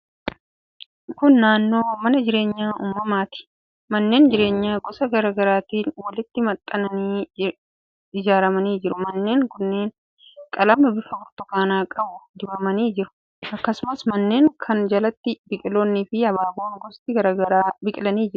Kun naannoo mana jireenyaa uummataati. Manneen jireenyaa gosa garaa garaatiin walitti maxxananii ijaaramanii jiru. Manneen kunneen qalama bifa burtukaanaa qabu dibamanii jiru. Akkasumas, manneen kana jalatti biqiloonniifi abaaboon gosti garaa garaa biqilanii jiru.